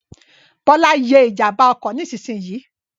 Bọ́lá ye ìjànbá ọkọ̀ nísinsìnyì